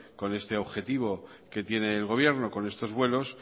con este objetivo que tiene el gobierno con estos vuelos